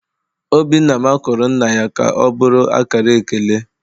Obinna makụrụ nna ya ka ọ bụrụ akara ekele.